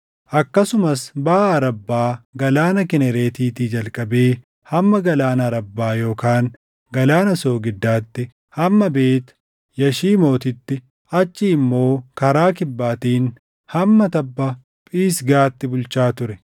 Akkasumas baʼa Arabbaa Galaana Kinereetiitii jalqabee hamma Galaana Arabbaa yookaan Galaana Soogiddaatti, hamma Beet Yashiimootitti, achii immoo karaa Kibbaatiin hamma tabba Phisgaatti bulchaa ture.